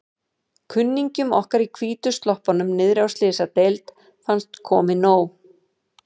Kunningjum okkar í hvítu sloppunum niðri á Slysadeild fannst komið nóg.